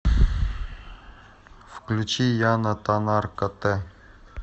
включи яна таннар котэ